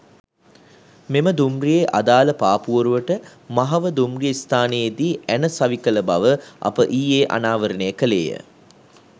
මෙම දුම්රියේ අදාළ පාපුවරුවට මහව දුම්රිය ස්ථානයේදී ඇණ සවිකළ බව අප ඊයේ අනාවරණය කළේය.